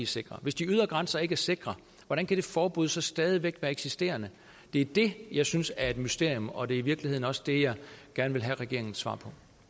sikre hvis de ydre grænser ikke er sikre hvordan kan det forbud så stadig væk være eksisterende det er det jeg synes er et mysterium og det er i virkeligheden også det jeg gerne vil have regeringens svar